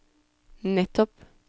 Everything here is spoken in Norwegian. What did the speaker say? nettopp